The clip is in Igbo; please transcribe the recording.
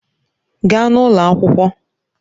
Gaa n'ụlọ akwụkwọ!